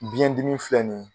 biyɛn dimi filɛ nin